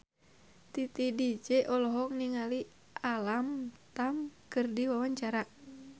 Titi DJ olohok ningali Alam Tam keur diwawancara